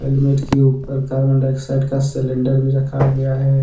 Helmet के ऊपर carbon dioxide का सिलेंडर भी रखा गया है।